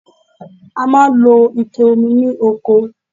A máa ń lo Ike omi ní oko